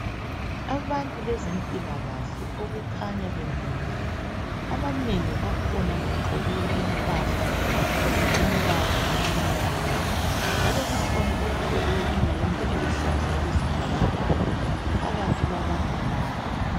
Abantu bezempilakahle okukhanya bemile .Abanengi bakhona bagqoke impahla ezilombala omnyama njalo kukhona ogqoke iyembe eluhlaza okwesibhakabhaka phakathi kwabantu laba.